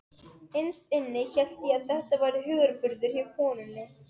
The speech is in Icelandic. Innst inni hélt ég að þetta væri hugarburður hjá konunni.